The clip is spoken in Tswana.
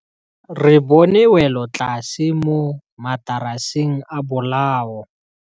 Re bone wêlôtlasê mo mataraseng a bolaô.